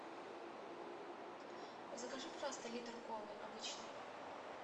закажи пожалуйста литр колы обычной